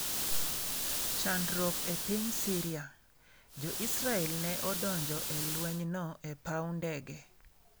Chandruok e Piny Syria:Jo Israel ne odonjo e lwenyno e paw ndege